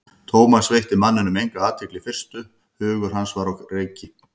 Thomas veitti manninum enga athygli í fyrstu, hugur hans var á reiki.